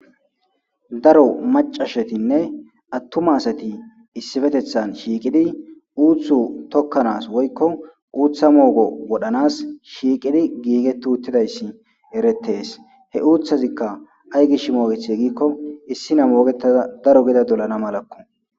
Daro macashetinne attuma asati issifetethan shiiqidi uuthu tokkanas woykko uutha moogo wodhanas shiiqidi giiget uttidayssi eretees he uuthazikka ay gish moogethi giikko issi na moogetada daro gida dolana malakko.